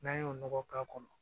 N'an y'o nɔgɔ k'a kɔnɔ